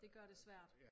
Det gør det svært